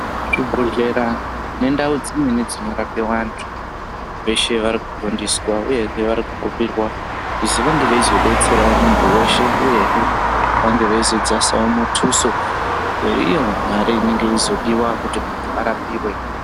Zvibhodhlera nendau dzimweni dzinorapirwa antu veshe varikufundiswa, uyezve varikukumbirwa kuzi vange veizobetseravo muntu veshe, uyezve vange veizodzasavo mutuso veiyo mare inenge yeizodiva kuti muntu arapive.